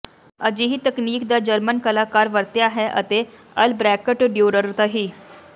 ਅਜਿਹੀ ਤਕਨੀਕ ਦਾ ਜਰਮਨ ਕਲਾਕਾਰ ਵਰਤਿਆ ਹੈ ਅਤੇ ਅਲਬ੍ਰੇਕਟ ਡਿਊਰਰ ਤਹਿ